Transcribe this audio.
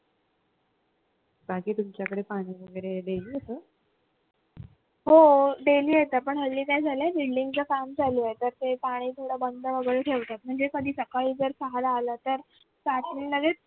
हो daily येत पण हल्ली काय झालंय building च काम चालू आहे तर ते पाणी थोडं बंद वगैरे ठेवतात म्हणजे कधी सकाळी जर सहाला आलं तर रात्री लगेच